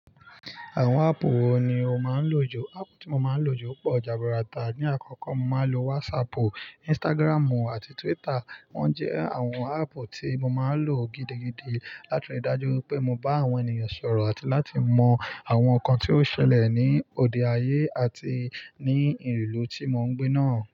Àwọn áàpù wo ni o máa ń lò jù? Áàpù tí mo máa ń lò jù pọ̀ jàbu rata. Ni àkọ́kọ́, mo máa ń lo WhatsAppu, Instagramu àti Twitter. Wọ́n jẹ́ àwọn áàpù tí mo máa ń lò gidigidi láti rí i dájú pé mo bá àwọn ènìyàn sọ̀rọ̀ àti láti mọ àwọn nǹkan tí ó ṣẹlẹ̀ ní òde ayé àti ní ìlú tí mo ń gbé náà.